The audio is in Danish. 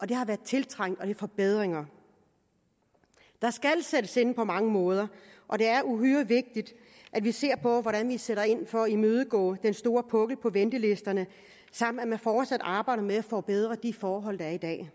det har været tiltrængt og det er forbedringer der skal sættes ind på mange måder og det er uhyre vigtigt at vi ser på hvordan vi sætter ind for at imødegå den store pukkel på ventelisterne samt at man fortsat arbejder med at forbedre de forhold der er i dag